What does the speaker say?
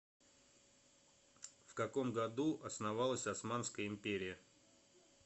в каком году основалась османская империя